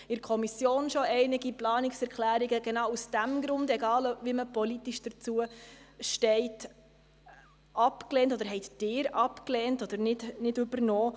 Aus diesem Grund – und zwar genau aus diesem Grund – haben Sie und auch wir bereits in der Kommission einige Planungserklärungen abgelehnt, egal, wie man politisch dazu steht.